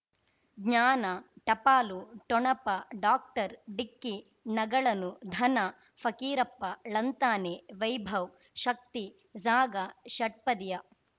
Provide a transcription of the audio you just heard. ಜ್ಞಾನ ಟಪಾಲು ಠೊಣಪ ಡಾಕ್ಟರ್ ಢಿಕ್ಕಿ ಣಗಳನು ಧನ ಫಕೀರಪ್ಪ ಳಂತಾನೆ ವೈಭವ್ ಶಕ್ತಿ ಝಾಗಾ ಷಟ್ಪದಿಯ